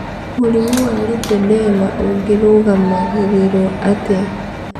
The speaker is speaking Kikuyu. Mũrimũ wa lipedema ũngĩrũgamagĩrĩrũo atĩa?